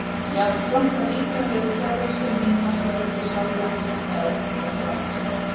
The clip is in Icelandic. Jafnframt líkamlegri þörf sem myndast verður til sálræn fíkn í áfengið þegar fram í sækir.